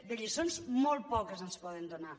de lliçons molt poques ens en poden donar